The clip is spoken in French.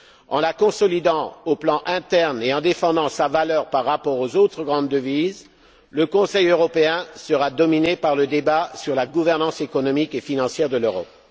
En la consolidant au plan interne et en défendant sa valeur par rapport aux autres grandes devises, le Conseil européen sera dominé par le débat sur la gouvernance économique et financière de l'Europe.